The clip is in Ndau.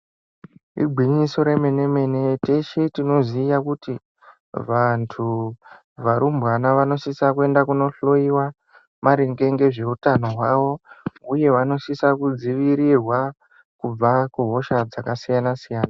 Igwinyiso remene-mene teshe tinoziya kuti vantu, varumbwana vanosisa kuenda kunohloyiwa maringe ngezveutano hwavo uye vanosisa kudzivirirwa kubva kuhosha dzakasiyana-siyana.